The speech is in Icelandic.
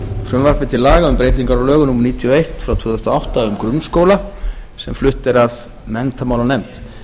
frumvarpi til laga um breytingar á lögum númer níutíu og eitt tvö þúsund og átta um grunnskóla sem flutt er af menntamálanefnd